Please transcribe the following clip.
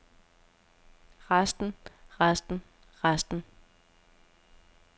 resten resten resten